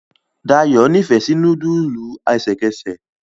Dayo n'ifẹ sí nudulu ẹsẹkẹsẹ.